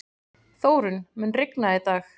Þórunn, mun rigna í dag?